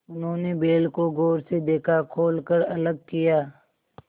उन्होंने बैल को गौर से देखा खोल कर अलग किया